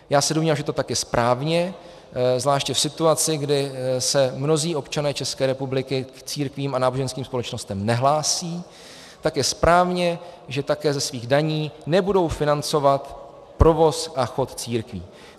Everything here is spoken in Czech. Já se domnívám, že to tak je správně, zvláště v situaci, kdy se mnozí občané České republiky k církvím a náboženským společnostem nehlásí, tak je správně, že také ze svých daní nebudou financovat provoz a chod církví.